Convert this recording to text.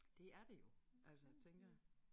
Det er det jo altså tænker jeg